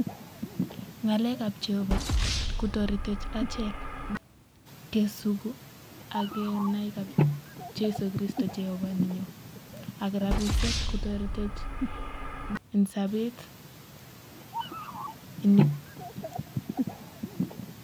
Ng'alek ab Jehova kotoretech achek kenai [Jehovah] ak rabisiek kotoretech eng sabet